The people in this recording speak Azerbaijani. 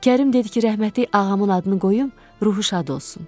Kərim dedi ki, rəhmətlik ağamın adını qoyum, ruhu şad olsun.